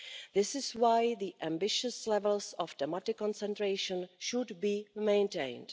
This is why the ambitious levels of thematic concentration should be maintained.